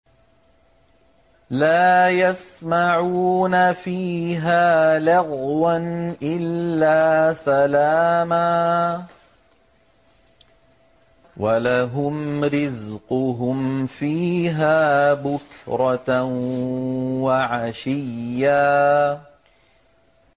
لَّا يَسْمَعُونَ فِيهَا لَغْوًا إِلَّا سَلَامًا ۖ وَلَهُمْ رِزْقُهُمْ فِيهَا بُكْرَةً وَعَشِيًّا